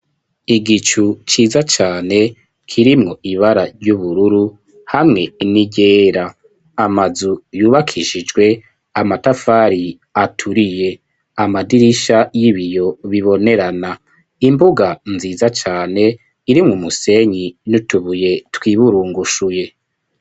Igicu ciza cane kirimwo ibara ry'ubururu hamwe n'iryera amazu yubakishijwe amatafari aturiye amadirisha y'ibiyo bibonerana imbuga nziza cane irimwo umusenyi n'utubuye twiburungushuye.